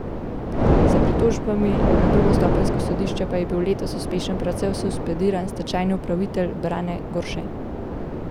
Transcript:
S pritožbami na drugostopenjsko sodišče pa je bil letos uspešen predvsem suspendiran stečajni upravitelj Brane Gorše.